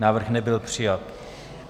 Návrh nebyl přijat.